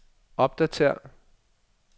opdatér